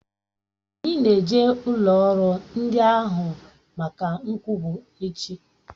Anyi n'eje ụlọrụ ndi n'ahụ maka nkwubu echi